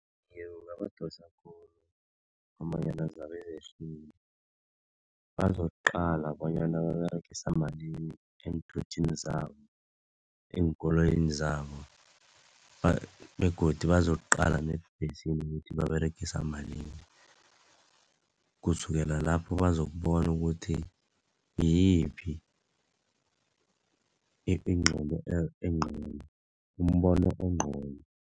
Iye kungabadosa khulu ngombanyana zabe yehlile bazokuqala bonyana baberegisa malini eenthuthini zabo, eenkoloyini zabo begodu bazokuqala neembhesini ukuthi baberegisa malini, kusukela lapho bazokubona ukuthi ngiyiphi umbono ongcono.